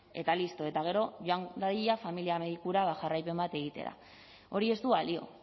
eta listo eta gero joan dadila familia medikura jarraipen bat egitera hori ez du balio